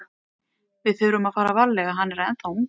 Við þurfum að fara varlega, hann er ennþá ungur.